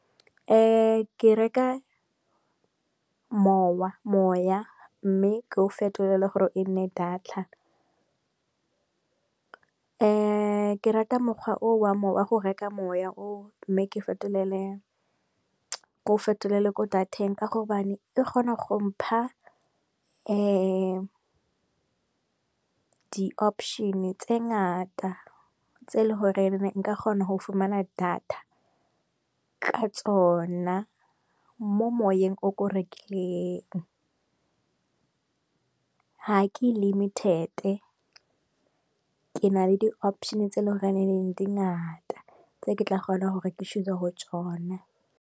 Ke reka moya mme ke o fetolele gore e nne data. Ke rata mokgwa o wa me wa go reka moya o mme ke fetolele ko dateng ka gobane e kgona go mpha di option tse ngata tse e le gore ke ne nka kgona go fumana data ka tsona Mo moyeng o ko rekileng ha ke limited ke na le di option tse e leng gore dingata tse ke tla kgona gore ke choose-e go tsona.